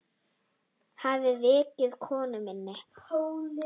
Ég hafði vakið konu mína.